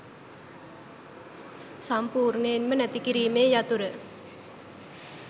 සම්පුර්ණයෙන්ම නැති කිරීමේ යතුර